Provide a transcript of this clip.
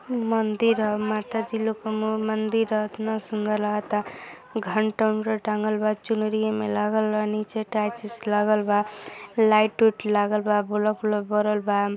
मंदिर ह। माताजी लोग क मो मंदिर ह। एतना सुंदर लागता। घंटा उन्टा टाँगल बा। चुनरी एमें लागल बा। नीचे टाइल्स ओइल्स लागल बा। लाइट ओइट लागल बा। बलफ ओलफ बरल बा।